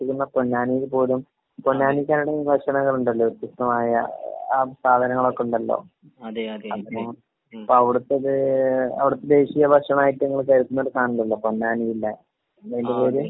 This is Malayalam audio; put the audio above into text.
പൊന്നാനിയില് പോലും പൊന്നാനിക്കാരുടെ വിവിധ ഭക്ഷണങ്ങളുണ്ടല്ലോ അവർക്ക്? വ്യത്യസ്തമായ ആ സാധനങ്ങളൊക്കെ ഇണ്ടല്ലോ? . അപ്പൊ അവിടത്തത് അവിടത്തെ ദേശീയ ഭക്ഷണായിട്ട് ഇങ്ങള് കരുതുന്ന ഒരു സാധനണ്ടല്ലോ പൊന്നാനിയില്?